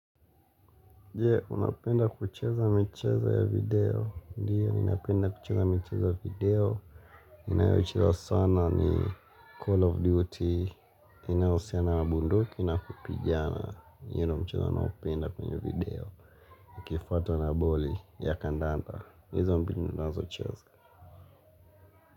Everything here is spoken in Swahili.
Jee, unapenda kucheza michezo ya video. Ndiyo, napenda kucheza michezo ya video. Ninayo cheza sana ni Call of Duty. Inahusiana na bunduki na kupigana. Yeno mcheza naopenda kwenye video. Kifwata na boli ya kandanda. Hizo mbini ninazo cheza.